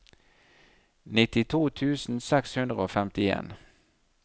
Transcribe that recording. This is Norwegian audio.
nittito tusen seks hundre og femtien